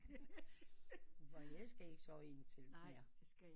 Jeg skal ikke sove i en telt mere